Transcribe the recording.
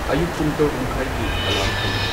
ꯑꯌꯨꯛ ꯄꯨꯨꯡ ꯇꯔꯨꯛ ꯃꯈꯥꯏꯒꯤ ꯑꯦꯂꯥꯔꯝ ꯊꯝꯃꯨ